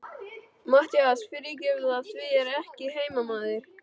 MATTHÍAS: Fyrirgefðu, af því ég er ekki heimamaður.